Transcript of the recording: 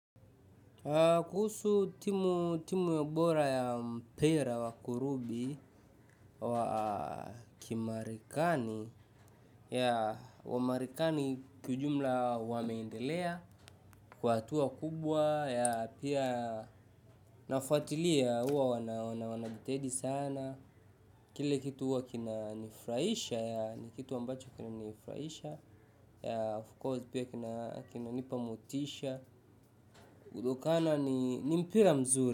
Kuhusu timu bora ya mpiranwakurubi wakimarekani yeah wamarekani kijumla wameendelea, kwa hatua kubwa, ya pia nafuatilia huwa wanajitedi sana, kile kitu huwa kinanifurahisha yaani kitu ambacho kinanifurahisha yeah of course pia kinanipa motisha, kutokana ni mpira mzuri.